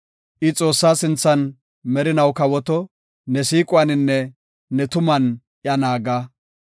I Xoossaa sinthan merinaw kawoto; ne siiquwaninne ne tuman iya naaga.